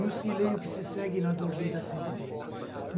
E os que leem o que se segue na dor lida sente bem.